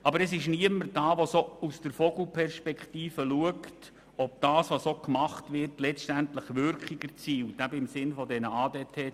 Aber es gibt niemanden, der aus der Vogelperspektive schaut, ob das, was gemacht wird, letztlich auch Wirkung bezüglich der ADT-Ziele erzielt.